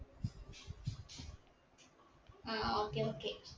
ആ okay okay